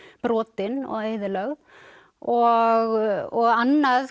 brotin og eyðilögð og annað